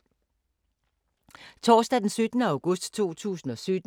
Torsdag d. 17. august 2017